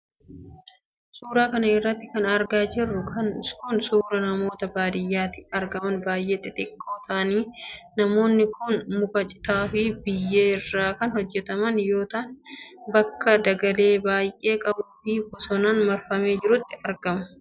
Suura kana irratti kan argaa jirru kun, suura manoota baadiyaatti argaman baay'ee xixiqqoo ta'aniidha. Manoonni kun, muka ,citaa fi biyyee irraa kan hojjataman yoo ta'an, bakka dhagaalee baay'ee qabuu fi bosonaan marfamee jirutti argamu.